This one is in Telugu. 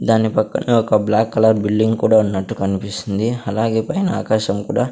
దాని పక్కన ఒక బ్లాక్ కలర్ బిల్డింగ్ కూడా ఉన్నట్టు కన్పిస్తుంది అలాగే పైన ఆకాశం కూడా--